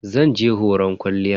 Zan je horon kwalliyan.